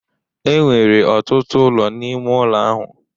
Enwere ọtụtụ ụlọ n'ime ụlọ ahụ.